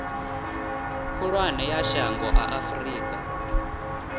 khulwane ya shango a afurika